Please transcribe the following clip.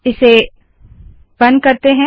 इसे बंद करते है